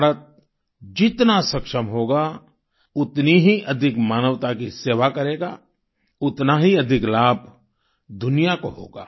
भारत जितना सक्षम होगा उतनी ही अधिक मानवता की सेवा करेगा उतना ही अधिक लाभ दुनिया को होगा